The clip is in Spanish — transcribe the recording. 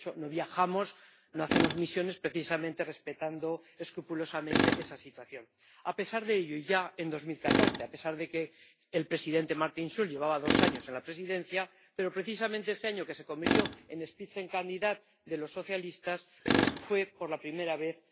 De hecho, no viajamos, no hacemos misiones, precisamente respetando escrupulosamente esa situación. A pesar de ello, ya en 2014, a pesar de que el presidente Martin Schulz llevaba dos años en la Presidencia, precisamente ese año, en el que se convirtió en Spitzenkandidat de los socialistas, fue atacado por primera vez.